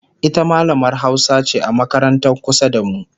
ita mallamar Hausa ce a makarantar kusa da mu